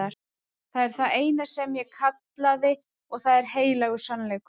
Það er það eina sem ég kallaði og það er heilagur sannleikur.